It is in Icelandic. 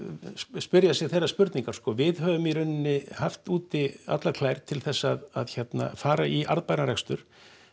spyrja sig þeirrar spurningar sko við höfum í raun haft úti allar klær til þess að fara í arðbæran rekstur